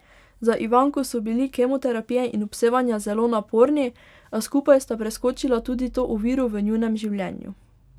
Za Ivanko so bili kemoterapije in obsevanja zelo naporni, a skupaj sta preskočila tudi to oviro v njunem življenju.